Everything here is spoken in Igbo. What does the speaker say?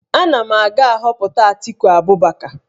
Nna m ga-ahọpụta Atiku Abubakar